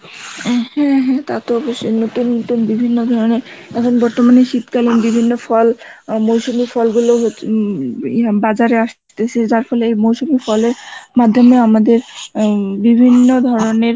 উম হম তা তো অবশ্যই নতুন নতুন বিভিন্ন ধরনের এখন বর্তমানে শীতকালীন বিভিন্ন ফল মৌসুমী ফলগুলো উম বাজারে আসতেছে যার ফলে মাধ্যমে আমাদের উম বিভিন্ন ধরনের